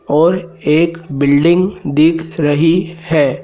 और एक बिल्डिंग दिख रही है।